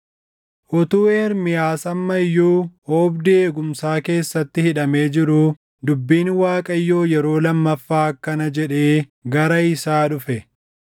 Utuu Ermiyaas amma iyyuu oobdii eegumsaa keessatti hidhamee jiruu, dubbiin Waaqayyoo yeroo lammaffaa akkana jedhee gara isaa dhufe: